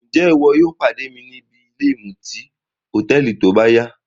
Njẹ iwo yóò pade mi nìbí ìmuti hotẹẹli tóbáya?